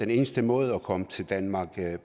den eneste måde at komme til danmark